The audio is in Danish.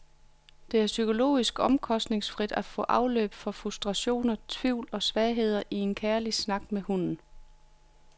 Det er psykologisk omkostningsfrit at få afløb for frustrationer, tvivl og svagheder i en kærlig snak med hunden.